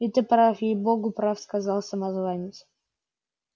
и ты прав ей-богу прав сказал самозванец